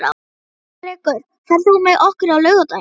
Ermenrekur, ferð þú með okkur á laugardaginn?